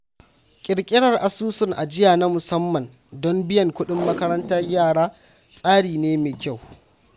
Ƙirƙirar asusun ajiya na musamman don biyan kuɗin makarantar yara tsari ne mai kyau.